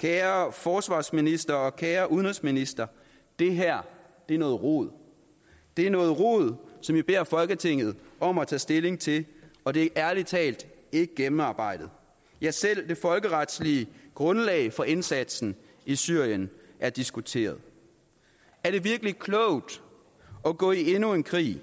kære forsvarsminister og kære udenrigsminister det her er noget rod det er noget rod som i beder folketinget om at tage stilling til og det er ærlig talt ikke gennemarbejdet ja selv det folkeretlige grundlag for indsatsen i syrien er diskuteret er det virkelig klogt at gå i endnu en krig